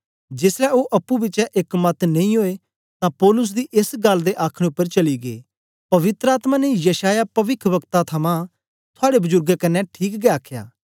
जेसलै ओ अप्पुं बिचें एक मत नेई ओए तां पौलुस दी एस गल्ल दे आखने उपर चली गै पवित्र आत्मा ने यशायाह पविखवक्ता थमां थुआड़े बजुर्गें कन्ने ठीक गै आखया